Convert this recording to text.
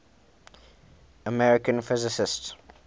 american physicists